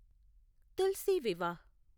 Tulsi Vivah